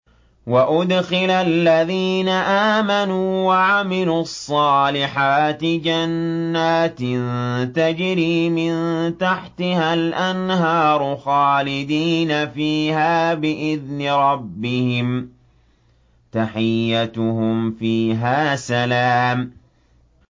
وَأُدْخِلَ الَّذِينَ آمَنُوا وَعَمِلُوا الصَّالِحَاتِ جَنَّاتٍ تَجْرِي مِن تَحْتِهَا الْأَنْهَارُ خَالِدِينَ فِيهَا بِإِذْنِ رَبِّهِمْ ۖ تَحِيَّتُهُمْ فِيهَا سَلَامٌ